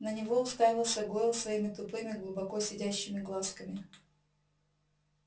на него уставился гойл своими тупыми глубоко сидящими глазками